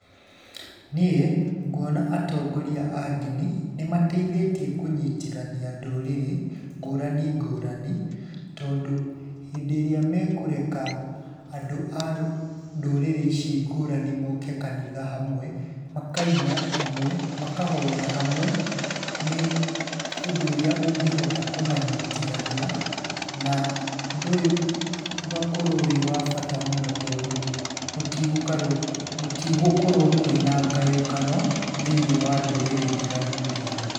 Niĩ, nguona atongoria a ndini, nĩ mateithĩtie kũnyitithania ndũrĩrĩ ngũrani ngũrani, tondũ hĩndĩ ĩrĩa mekũreka andũ a ndũrĩrĩ ici ngũrani moke kanitha hamwe, makaina hamwe, makahoya hamwe, nĩ ũndũ ũrĩa ũngĩhota kũmanyitithania, na ũndũ ũyũ, ũgakorwo wĩ wa bata mũno tondũ, gũtigũkarwo gũtigũkorwo kwĩna ngayũkano, thĩiniĩ wa ndũrĩrĩ ndiganu ndiganu.